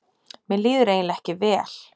Mér líður eiginlega ekki vel.